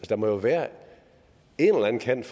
der må jo være en eller anden kant